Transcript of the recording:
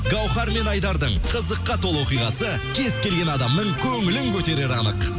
гауһар мен айдардың қызыққа толы оқиғасы кез келген адамның көңілін көтерері анық